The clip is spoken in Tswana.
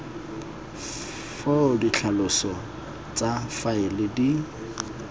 foo ditlhaloso tsa faele di